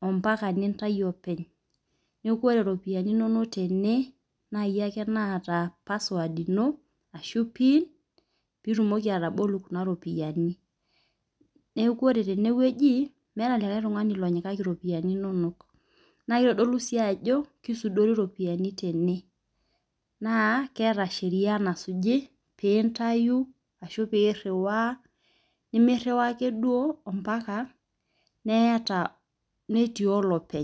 ompaka nintayu openy. Neeku ore iropiani inonok tene naa iyie ake naata password ino ashu pin pitumoki atabuku kuna ropiani. Neeku ore teneweji meeta likae tung'ani onyokaki iropiani inonok. Naa kitodulu sii ajo kisudori iropiani tene. Naa keeta sheria nasuji pintayu ashu piiriwa nimiriwa ake duo ake mpaka neeta neeti olopeny.